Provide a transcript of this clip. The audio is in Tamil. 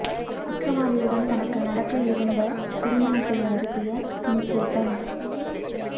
குற்றவாளியுடன் தனக்கு நடக்க இருந்த திருமணத்தை நிறுத்திய துணிச்சல் பெண்